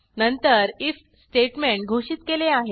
नंतर IF statement घोषित केले आहे